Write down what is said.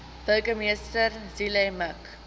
burgemeester zille mik